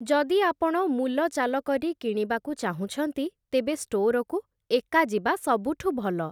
ଯଦି ଆପଣ ମୂଲଚାଲ କରି କିଣିବାକୁ ଚାହୁଁଛନ୍ତି, ତେବେ ଷ୍ଟୋରକୁ ଏକା ଯିବା ସବୁଠୁ ଭଲ ।